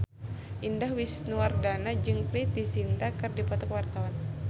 Indah Wisnuwardana jeung Preity Zinta keur dipoto ku wartawan